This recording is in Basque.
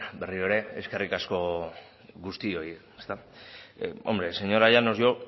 berriro ere eskerrik asko guztioi hombre señora llanos